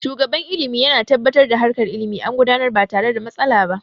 Shugaban ilimi yana tabbatar da harkar ilimi an gudanar ba tare da matsala ba